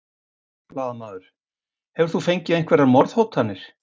Blaðamaður: Hefur þú fengið einhverjar morðhótanir?